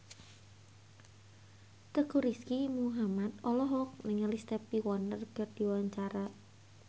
Teuku Rizky Muhammad olohok ningali Stevie Wonder keur diwawancara